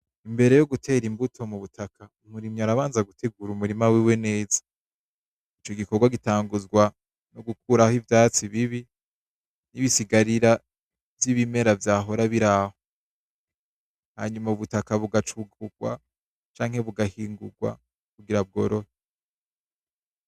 Imbere yogutera imbuto mubutaka, umurimyi arabanza gutegura umurima wiwe neza. Ico gikorwa gitanguzwa nogukuraho ivyatsi bibi, nibisigarira vyibimera vyahora biraho. Hanyuma ubutaka bugacugurwa canke bugahingurwa kugira bworohe.